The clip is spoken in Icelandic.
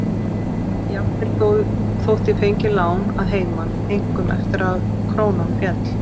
Jafnvel þótt ég fengi lán að heiman, einkum eftir að krónan féll.